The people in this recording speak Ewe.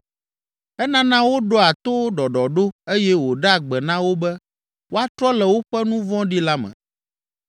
Enana woɖoa to ɖɔɖɔɖo eye wòɖea gbe na wo be woatrɔ le woƒe nu vɔ̃ɖi la me.